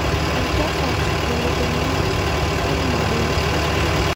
Oltasat olukunya olamarei.